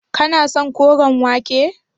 Kana son koren wake.